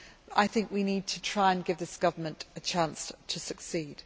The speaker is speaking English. I think we need to try and give this government a chance to succeed.